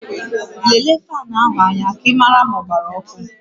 Lelee faanụ áhụ̀ aja ka ị mara ma ọ gbara ọkụ